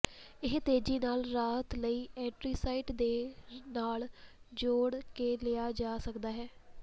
ਇਹ ਤੇਜ਼ੀ ਨਾਲ ਰਾਹਤ ਲਈ ਐਂਟੀਸਾਈਡ ਦੇ ਨਾਲ ਜੋੜ ਕੇ ਲਿਆ ਜਾ ਸਕਦਾ ਹੈ